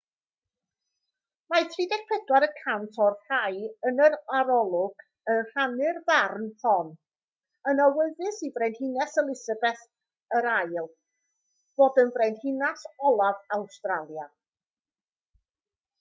mae 34 y cant o'r rhai yn yr arolwg yn rhannu'r farn hon yn awyddus i frenhines elisabeth ll fod yn frenhines olaf awstralia